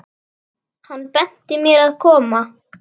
Hann benti mér að koma?